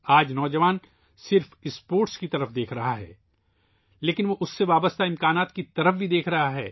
آج نوجوان صرف اسپورٹس کی طرف ہی دیکھ رہا ہے ، ایسا نہیں ہے لیکن ہم اس سے جڑے امتحانات کو بھی دیکھ رہے ہیں